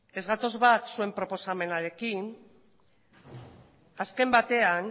ez gatoz bat zuen proposamenarekin azken batean